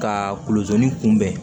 Ka kulon ni kunbɛn